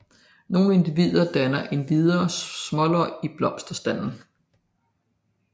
Nogle individer danner endvidere småløg i blomsterstanden